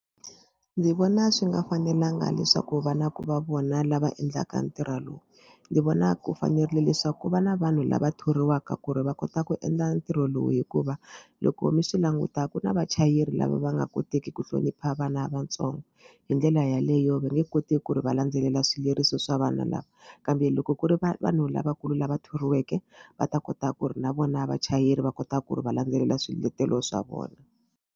Ndzi vona swi nga fanelanga leswaku vana va vona lava endlaka ntirho lowu ndzi vona ku fanerile leswaku ku va na vanhu lava thoriwaka ku ri va kota ku endla ntirho lowu hikuva loko mi swi langutaka na vachayeri lava va nga koteki ku hlonipha vana vatsongo hi ndlela yaleyo va nge koti ku ri va landzelela swileriso swa vana lava kambe loko ku ri va vanhu lavakulu lava thoriweke va ta kota ku ri na vona vachayeri va kota ku ri va landzelela swiletelo swa vona.